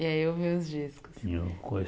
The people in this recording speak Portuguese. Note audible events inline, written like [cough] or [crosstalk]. E aí ouviu os discos. [unintelligible]